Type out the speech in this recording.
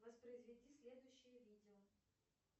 воспроизведи следующее видео